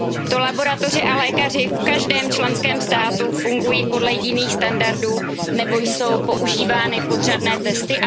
To laboratoře a lékaři v každém členském státu fungují podle jiných standardů nebo jsou používány podřadné testy?